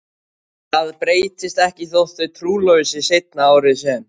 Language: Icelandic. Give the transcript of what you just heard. Það breytist ekki þótt þau trúlofi sig seinna árið sem